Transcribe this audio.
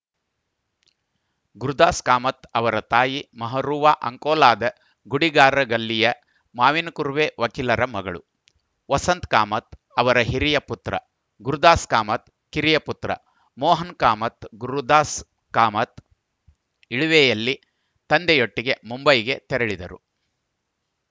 ಗುರುದಾಸ್ ಕಾಮತ್‌ ಅವರ ತಾಯಿ ಮಹರೂವ ಅಂಕೋಲಾದ ಗುಡಿಗಾರಗಲ್ಲಿಯ ಮಾವಿನಕುರ್ವೆ ವಕೀಲರ ಮಗಳು ವಸಂತ ಕಾಮತ್‌ ಅವರ ಹಿರಿಯ ಪುತ್ರ ಗುರುದಾಸ್ ಕಾಮತ್‌ ಕಿರಿಯ ಪುತ್ರ ಮೋಹನ ಕಾಮತ್‌ ಗುರುದಾಸ್ ಕಾಮತ್‌ ಎಳವೆಯಲ್ಲೆ ತಂದೆಯೊಟ್ಟಿಗೆ ಮುಂಬೈಗೆ ತೆರಳಿದರು